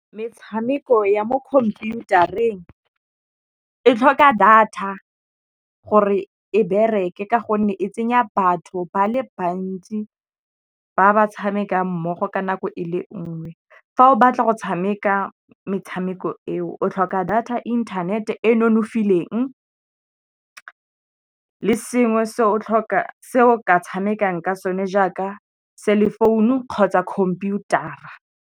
Metshameko ya mo computer-eng e tlhoka data gore e bereke ka gonne e tsenya batho ba le bantsi ba ba tshamekang mmogo ka nako e le nngwe. Fa o batla go tshameka metshameko eo o tlhoka data internet e nonofileng le sengwe se o ka tshamekang ka so ne jaaka cell phone kgotsa computer-a.